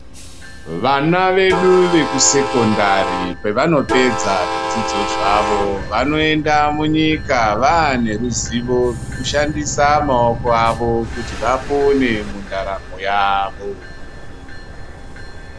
Vana vedu vekusekondari pevanopedza zvidzidzo zvavo vanoenda munyika vane ruzivo rwekushandisa maoko avo kuti vapone mundaramo yavo.